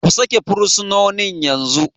Ku sake fursunonin yanzu!